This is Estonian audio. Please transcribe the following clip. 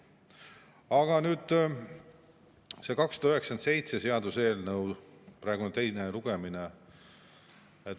Aga nüüd see seaduseelnõu 297, praegu on teine lugemine.